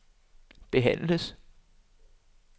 behandles